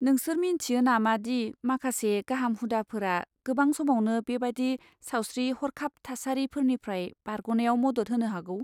नोंसोर मिन्थियो नामादि माखासे गाहाम हुदाफोरा गोबां समावनो बेबादि सावस्रि हरखाब थासारिफोरनिफ्राय बारग'नायाव मदद होनो हागौ?